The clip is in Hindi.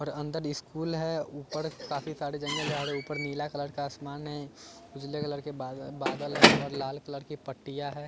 और अंदर स्कूल है ऊपर काफी सारे जंगल झाड़ी ऊपर नीला कलर का आसमान है उजले कलर के बादल बादल हैं और लाल कलर की पट्टीयां हैं।